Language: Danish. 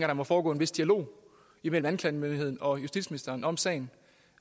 der må foregå en vis dialog imellem anklagemyndigheden og justitsministeren om sagen